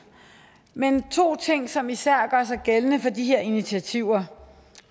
men der to ting som især gør sig gældende for de her initiativer og